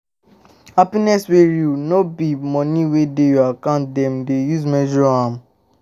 Happiness wey real, no be by money wey dey your account dem dey measure am.